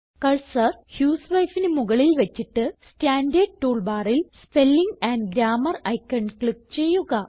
cursor husewifeന് മുകളിൽ വച്ചിട്ട് സ്റ്റാൻഡർഡ് ടൂൾ ബാറിൽ spelling and grammar icon click ചെയ്യുക